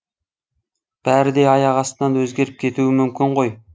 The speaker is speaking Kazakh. бәрі де аяқ астынан өзгеріп кетуі мүмкін ғой